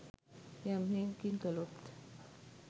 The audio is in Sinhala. යම් හෙයකින් කළොත්